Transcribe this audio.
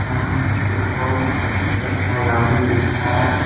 यहां पे एक बहुत खूबसूरत सा गार्डन दिख रहा है।